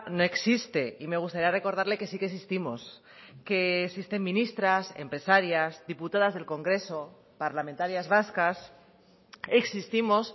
no existe y me gustaría recordarle que sí que existimos que existen ministras empresarias diputadas del congreso parlamentarias vascas existimos